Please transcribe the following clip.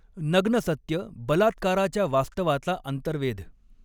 नग्नसत्य बलात्काराच्या वास्तवाचा अंतर्वे़ध